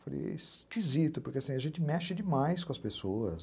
Falei, é esquisito, porque a gente mexe demais com as pessoas.